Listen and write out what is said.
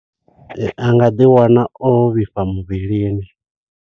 A nga ḓi wana o vhifha muvhilini.